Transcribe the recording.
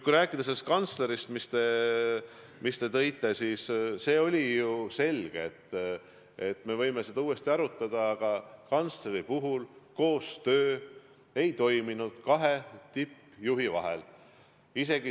Kui rääkida teie nimetatud kantslerist, siis me võime seda ju uuesti arutada, aga ministeeriumis koostöö kahe tippjuhi vahel ei toiminud.